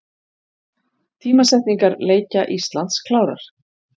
Tímasetningar leikja Íslands klárar